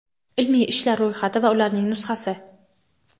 Ilmiy ishlar ro‘yxati va ularning nusxasi;.